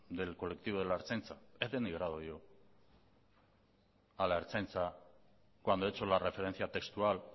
del colectivo de la ertzaintza he denigrado yo a la ertzaintza cuando he hecho la referencia textual